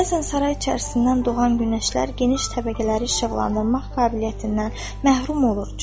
Bəzən saray içərisindən doğan günəşlər geniş təbəqələri işıqlandırmaq qabiliyyətindən məhrum olur.